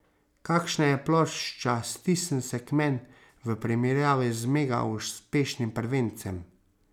Kakšna je plošča Stisn se k men v primerjavi z mega uspešnim prvencem?